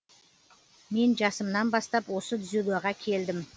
мен жасымнан бастап осы дзюдоға келдім